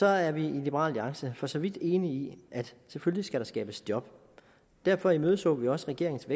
er vi i liberal alliance for så vidt enige i at selvfølgelig skal der skabes job derfor imødeså vi også regeringens